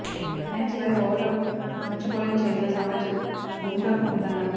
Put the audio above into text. match చివరి ఓవర్లలో మంచి బౌలింగ్ చేయగల సామర్థ్యం బుమ్రాకు ఉందన్నాడు